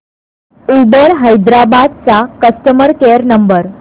Uber Hyderabad चा customer care number